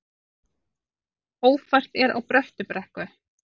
Ófært er á Bröttubrekku